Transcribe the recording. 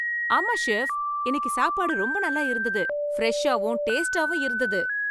ஆமா, செஃப், இன்னிக்கு சாப்பாடு ரொம்ப நல்லா இருந்தது. ஃபிரெஷ்ஷாவும், டேஸ்ட்டாவும் இருந்தது